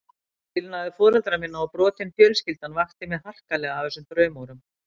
Skilnaður foreldra minna og brotin fjölskyldan vakti mig harkalega af þessum draumórum.